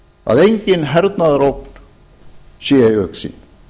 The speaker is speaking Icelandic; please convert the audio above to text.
að engin hernaðarógn sé í augsýn